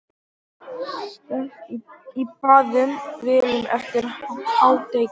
Steypt í báðum vélum eftir hádegi.